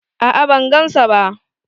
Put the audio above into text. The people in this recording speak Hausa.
A'a ban gan sa ba.